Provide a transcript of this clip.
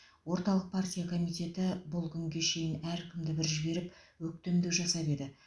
орталық партия комитеті бұл күнге шейін әркімді бір жіберіп өктемдік жасап еді